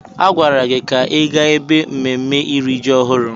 A gwara gị ka ị gaa ebe mmemme iri ji ọhụrụ!